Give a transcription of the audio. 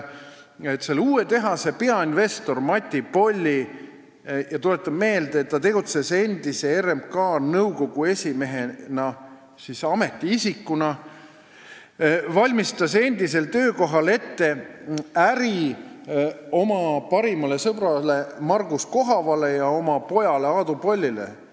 Uue tehase peainvestor Mati Polli – tuletan meelde, et ta tegutses enne RMK nõukogu esimehena – valmistas endisel töökohal ametiisikuna ette äri oma parimale sõbrale Margus Kohavale ja oma pojale Aadu Pollile.